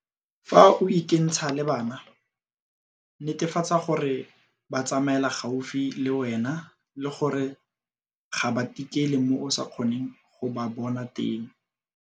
Fa o ikentsha le bana, netefatsa gore ba tsamaela gaufi le wena le gore ga ba tikele mo o sa kgoneng go ba bona teng.